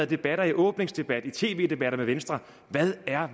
debatter i åbningsdebat i tv debatter med venstre hvad